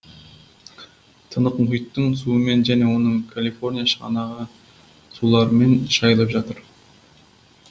тынық мұхиттың суымен және оның калифорния шығанағы суларымен шайылып жатыр